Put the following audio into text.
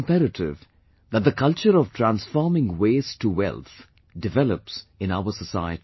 It is imperative that the culture of transforming waste to wealth develops in our society